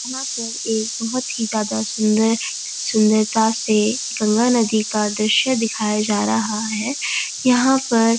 यहाँ पर एक बहुत ही ज्यादा सुंदर सुंदरता से गंगा नदी का दृश्य दिखाया जा रहा है यहाँ पर --